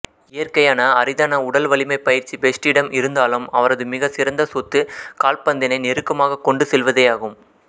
இயற்கையான அரிதான உடல் வலிமைப் பயிற்சி பெஸ்ட்டிடம் இருந்தாலும் அவரது மிகச் சிறந்த சொத்து கால்பந்தினை நெருக்கமாக கொண்டு செல்வதேயாகும்